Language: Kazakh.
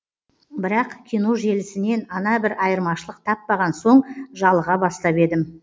бірақ кино желісінен ана бір айырмашылық таппаған соң жалыға бастап едім